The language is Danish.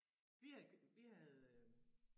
Vi havde vi havde øh